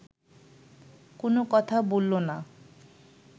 কোনো কথা বলল না